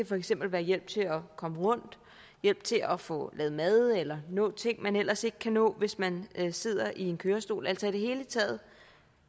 for eksempel være hjælp til at komme rundt hjælp til at få lavet mad eller at nå ting man ellers ikke kan nå hvis man sidder i kørestol altså i det hele taget